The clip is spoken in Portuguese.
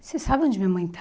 Você sabe onde minha mãe está?